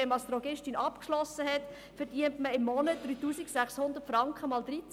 Wenn man als Drogistin abgeschlossen hat, verdient man im Monat 3600 Franken mal 13.